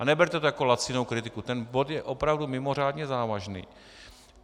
A neberte to jako lacinou kritiku, ten bod je opravdu mimořádně závažný.